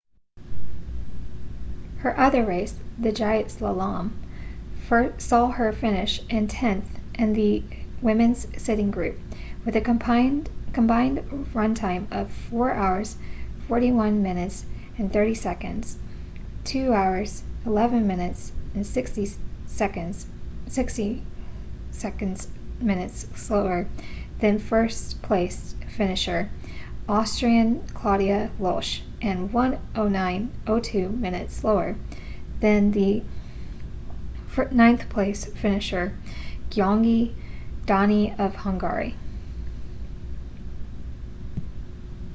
her other race the giant slalom saw her finish in tenth in the women's sitting group with a combined run time of 4:41.30 2:11.60 minutes slower than first place finisher austrian claudia loesch and 1:09.02 minutes slower than the ninth place finisher gyöngyi dani of hungary